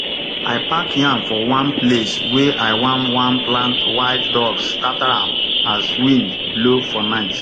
i pack yam for one place wey i wan wan plant wild dogs scatter am as wind blow for night